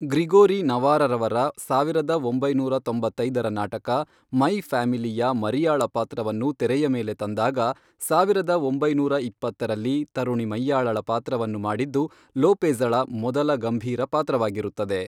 Gregory ನವಾರವರ ಸಾವಿರದ ಒಂಬೈನೂರ ತೊಂಬತ್ತೈದರ ನಾಟಕ, ಮೈ ಫ್ಯಾಮಿಲಿ ಯ ಮರಿಯಾಳ ಪಾತ್ರವನ್ನು ತೆರೆಯ ಮೇಲೆ ತಂದಾಗ ಸಾವಿರದ ಒಂಬೈನೂರ ಇಪ್ಪತ್ತರಲ್ಲಿಯ ತರುಣಿ ಮೈಯಾಳಳ ಪಾತ್ರವನ್ನು ಮಾಡಿದ್ದು ಲೋಪೆಜ಼ಳ ಮೊದಲ ಗಂಭೀರ ಪಾತ್ರವಾಗಿರುತ್ತದೆ.